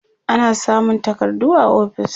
ana samun takardu a ofis